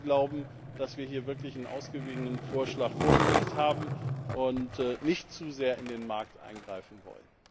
Wir glauben, dass wir hier wirklich einen ausgewogenen Vorschlag vorgelegt haben und nicht zu sehr in den Markt eingreifen wollen.